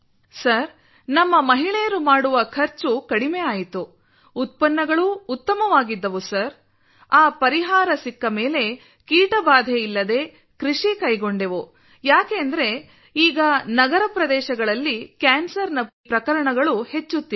sir ನಮ್ಮ ಮಹಿಳೆಯರು ಮಾಡುವ ಖರ್ಚು ಕಡಿಮೆ ಆಯಿತು ಉತ್ಪನ್ನಗಳೂ ಉತ್ತಮವಾಗಿದ್ದವು ಸರ್ ಆ ಪರಿಹಾರ ಸಿಕ್ಕ ಮೇಲೆ ಕೀಟಬಾಧೆ ಇಲ್ಲದೇ ಕೃಷಿ ಕೈಗೊಂಡೆವು ಯಾಕೆಂದರೆ ಈಗ ನಗರ ಪ್ರದೇಶಗಳಲ್ಲಿ ಕ್ಯಾನ್ಸರ್ನ ಪುರಾವೆಗಳು ಹೆಚ್ಚಾಗುತ್ತಿವೆ